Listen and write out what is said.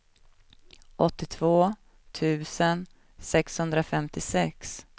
åttiotvå tusen sexhundrafemtiosex